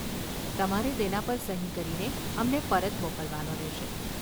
તમારે તેના પર સહી કરીને અમને પરત મોકલવાનો રહેશે.